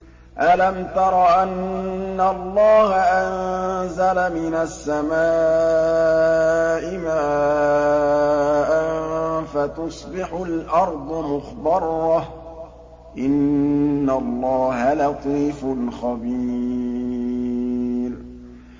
أَلَمْ تَرَ أَنَّ اللَّهَ أَنزَلَ مِنَ السَّمَاءِ مَاءً فَتُصْبِحُ الْأَرْضُ مُخْضَرَّةً ۗ إِنَّ اللَّهَ لَطِيفٌ خَبِيرٌ